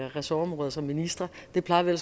ressortområder som ministre det plejer vi